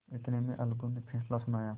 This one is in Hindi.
इतने में अलगू ने फैसला सुनाया